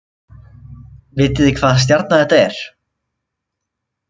Vitið þið hvaða stjarna þetta er